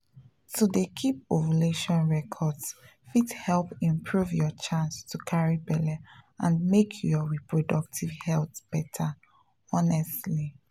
to dey keep ovulation records fit help improve your chance to carry belle and make your reproductive health better honestly.